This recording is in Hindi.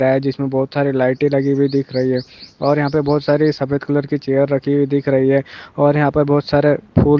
हे जिसमे बहत सारे लाइटे लगी हुए दिख रहि है और यह पे बहत सारे सफेद कलर के चेयर रखे हुई दिख रहि है और यहा पर बहत सारा फूल--